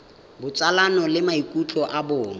botsalano le maikutlo a bong